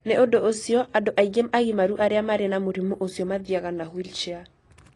Nĩ ũndũ ũcio, andũ aingĩ agimaru arĩa marĩ na mũrimũ ũcio mathiaga na wheelchair